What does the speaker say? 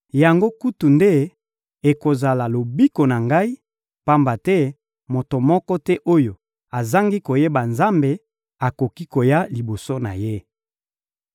Yango kutu nde ekozala lobiko na ngai, pamba te moto moko te oyo azangi koyeba Nzambe akoki koya liboso na Ye.